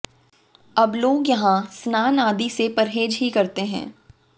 अब लोग यहां स्नान आदि से परहेज ही करते हैं